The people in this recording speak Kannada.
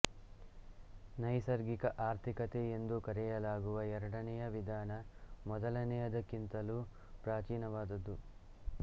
ನೈಸರ್ಗಿಕ ಆರ್ಥಿಕತೆ ಎಂದೂ ಕರೆಯಲಾಗುವ ಎರಡನೆಯ ವಿಧಾನ ಮೊದಲನೆಯದಕ್ಕಿಂತಲೂ ಪ್ರಾಚೀನವಾದದ್ದು